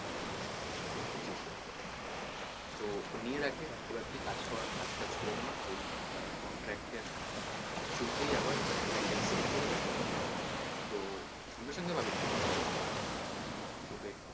বুঝছিস? তো ও নিয়ে রাখে এবার তুই কাজ কর কাজ টাজ করে নে তারপর ওই contract এর through তেই আবার file টা কে send করে দে তো সঙ্গে সঙ্গে পাবি না কিন্তু বুঝছিস টাকা টা তোকে একটু,